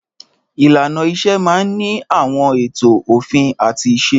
Ìlànà iṣẹ́ máà ń ní àwọn ètò, òfin àti ìse.